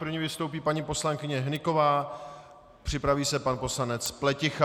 První vystoupí paní poslankyně Hnyková, připraví se pan poslanec Pleticha.